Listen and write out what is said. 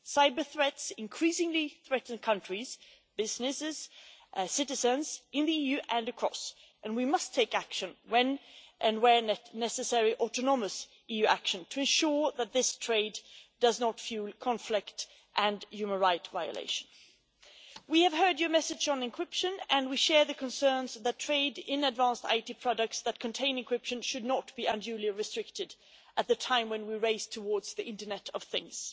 Cyber-threats increasingly threaten countries, businesses and citizens in the EU and across the world, and we must take action and when and where necessary autonomous EU action to ensure that this trade does not fuel conflict and human right violations. We have heard your message on encryption and we share the concerns that trade in advanced IT products that contain encryption should not be unduly restricted at a time when we are racing towards the Internet of things.